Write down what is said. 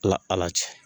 Ala ala cɛ